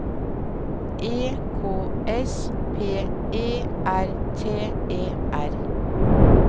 E K S P E R T E R